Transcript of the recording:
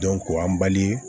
an bali